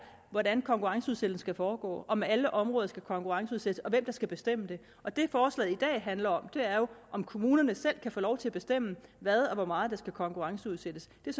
hvordan konkurrenceudsættelsen skal foregå om alle områder skal konkurrenceudsættes og hvem der skal bestemme det og det forslaget i dag handler om er jo om kommunerne selv kan få lov til at bestemme hvad og hvor meget der skal konkurrenceudsættes det er